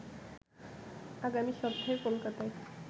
আগামী সপ্তাহে কোলকাতায়